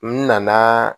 N nana